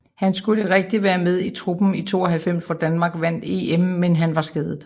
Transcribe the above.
Han skulle rigtig være med i truppen i 92 hvor danmark vandt EM men han var skadet